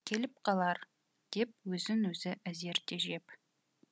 келіп қалар деп өзін өзі әзер тежеп